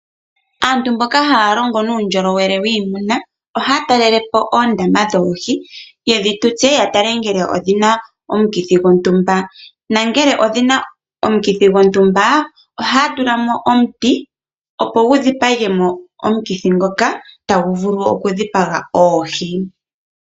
Aantu mboka haa longo nundjolowele wiimuna ohaa talelepo oondama dhoohi yedhi tutse ya tale ngele odhina omukithi gontumba. Na ngele odhina omukithi gontumba, ohaa tula mo omuti opo gu dhipage mo omukithi ngoka tagu vulu oku dhipaga oohi.